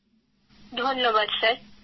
কৃত্তিকাঃ ধন্যবাদ স্যার